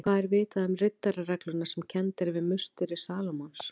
Hvað er vitað um riddararegluna sem kennd er við musteri Salómons?